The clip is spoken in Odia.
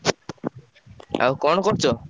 ଆଉ କଣ କରୁଚ?